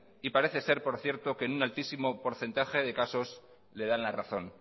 y parecer ser por cierto que en un altísimo porcentaje de casos le dan la razón